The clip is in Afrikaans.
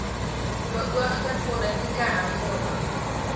beoogde politieke hervorming